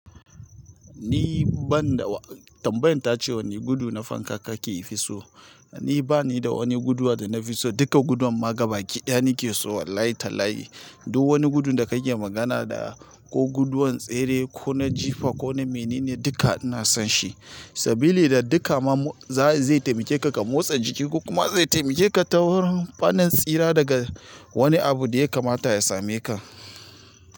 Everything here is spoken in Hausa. Ni ban da wa tambayan ta ce wani gudu na fanka kake yi fisu. Ni bani da wani guduwa danafi son duka gudan ma gabaki ɗaya nake so wallahi talahi. Duk wani gudu da kake magana da ko guduwan tsere ko na jifa ko na mene ne duka ina son shi. Sabili da dukka mamu zaya zai taimakeka, ka motsa jiki ko kuma zai taimake ka ta wurin tsira daga wani abu da ya kamata ya same ka.